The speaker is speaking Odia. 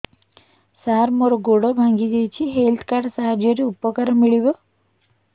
ସାର ମୋର ଗୋଡ଼ ଭାଙ୍ଗି ଯାଇଛି ହେଲ୍ଥ କାର୍ଡ ସାହାଯ୍ୟରେ ଉପକାର ମିଳିବ